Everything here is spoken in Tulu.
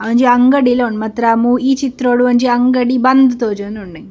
ಅವೊಂಜಿ ಅಂಗಡಿಲ ಉಂಡು ಮಾತ್ರ ಮೂ ಈ ಚಿತ್ರೊಡು ಒಂಜಿ ಅಂಗಡಿ ಬಂದ್‌ ತೋಜೋಂದುಂಡು ಎಂಕ್.